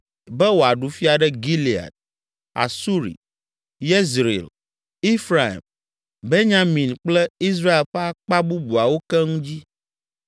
be wòaɖu fia ɖe Gilead, Asuri, Yezreel, Efraim, Benyamin kple Israel ƒe akpa bubuawo keŋ dzi.